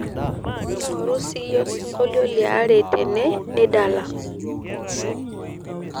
ing'orru siiyie osingolio liare tene nidala